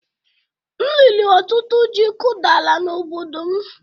M riri ọtụtụ ji kụdara n'obodo m